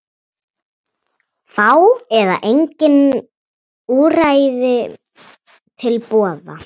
Fá eða engin úrræði til boða